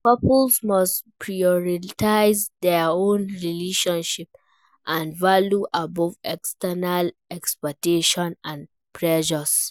couples must prioritize dia own relationship and values above external expectations and pressures.